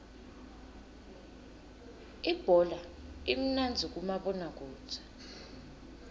ibhola imnandzi kumabona kudze